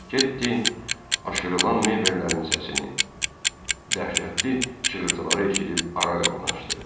Ketdi aşırılan mebellərin səsini, dəhşətli çığırtıları eşidib ara qapını açdı.